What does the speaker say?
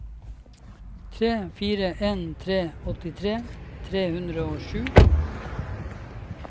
tre fire en tre åttitre tre hundre og sju